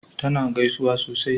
ta na gaisuwa sosai